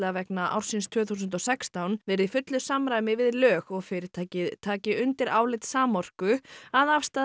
vegna ársins tvö þúsund og sextán verið í fullu samræmi við lög og fyrirtækið taki undir álit Samorku að afstaða